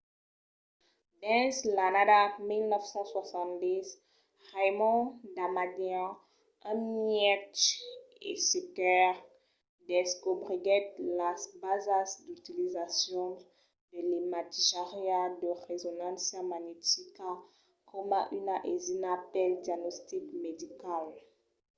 dins l’annada 1970 raymond damadian un mètge e cercaire descobriguèt las basas d'utilizacion de l’imatjariá de resonància magnetica coma una aisina pel diagnostic medical